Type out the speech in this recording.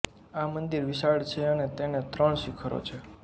આ મંદિર વિશાળ છે અને તેને ત્રણ શિખરો છે